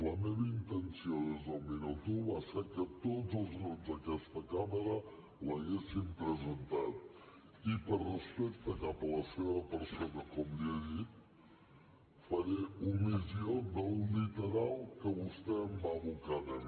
la meva intenció des del minut un va ser que tots els grups d’aquesta cambra l’haguessin presentat i per respecte cap a la seva persona com li he dit faré omissió del literal que vostè em va abocar a mi